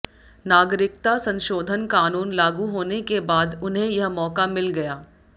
नागरिकता संशोधन कानून लागू होने के बाद उन्हें यह मौका मिल गया